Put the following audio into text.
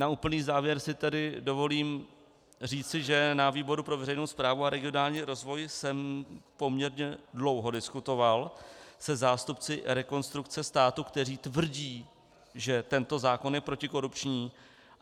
Na úplný závěr si tedy dovolím říci, že na výboru pro veřejnou správu a regionální rozvoj jsem poměrně dlouho diskutoval se zástupci Rekonstrukce státu, kteří tvrdí, že tento zákon je protikorupční.